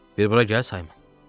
Bir bura gəl Saymon.